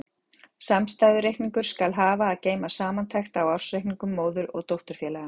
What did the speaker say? Samstæðureikningur skal hafa að geyma samantekt á ársreikningum móður- og dótturfélaganna.